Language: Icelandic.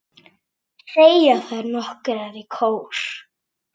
segja þær nokkrar í kór.